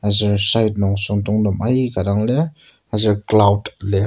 ser side nung süngdongtem aika dang lir aser cloud lir.